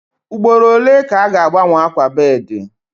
Ugboro ole ka a ga-agbanwe akwa bedii?